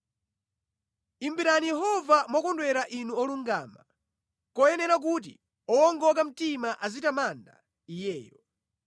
Imbirani Yehova mokondwera Inu olungama, nʼkoyenera kuti owongoka mtima azitamanda Iyeyo.